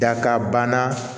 Dakabana